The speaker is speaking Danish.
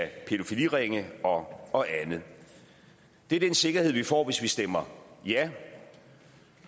pædofiliringe og andet det er den sikkerhed vi får hvis vi stemmer ja